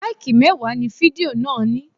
Láìkì mẹ́wàá ni fidió náà ní.